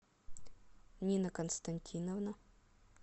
нина константиновна